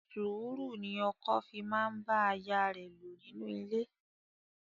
Sùúrù ni ọkọ fi máa ń bá aya lò nínú ilé.